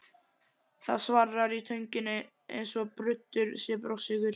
Það svarrar í tönginni eins og bruddur sé brjóstsykur.